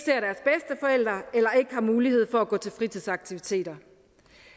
har mulighed for at gå til fritidsaktiviteter